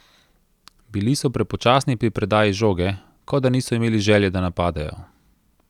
Bili so prepočasni pri predaji žoge, kot da niso imeli želje, da napadejo.